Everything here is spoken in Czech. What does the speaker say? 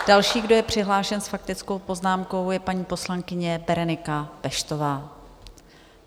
Další, kdo je přihlášen s faktickou poznámkou, je paní poslankyně Berenika Peštová.